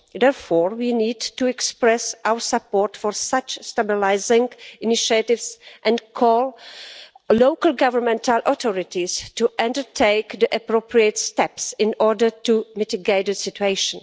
Therefore, we need to express our support for such stabilising initiatives and call on local governmental authorities to undertake the appropriate steps in order to mitigate the situation.